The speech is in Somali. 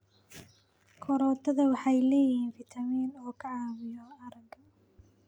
Karootada waxay leeyihiin fitamiin A oo ka caawiya aragga.